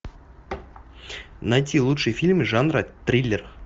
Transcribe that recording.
найти лучшие фильмы жанра триллер